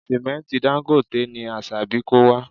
Sìmẹ́ntì Dangote ni Asabi kó wá